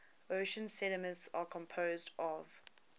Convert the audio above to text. ocean sediments are composed of